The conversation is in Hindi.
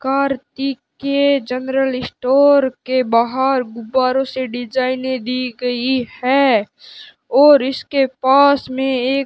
कार्तिक के जनरल स्टोर के बाहर गुब्बारों से डिजाइनें दी गई है और इसके पास में एक --